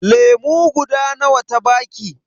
Lemu guda nawa ta baki?